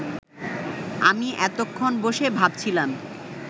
আমি এতক্ষণ বসে ভাবছিলাম